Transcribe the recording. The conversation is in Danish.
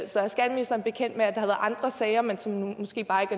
så er ministeren bekendt med at der har været andre sager men som måske bare ikke